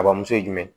A bamuso ye jumɛn